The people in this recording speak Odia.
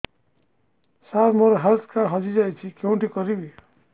ସାର ମୋର ହେଲ୍ଥ କାର୍ଡ ହଜି ଯାଇଛି କେଉଁଠି କରିବି